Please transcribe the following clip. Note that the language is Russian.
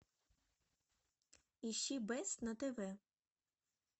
ищи бест на тв